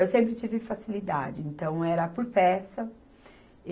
Eu sempre tive facilidade, então era por peça.